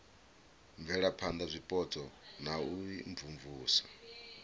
bvelaphana zwipotso na u imvumvusa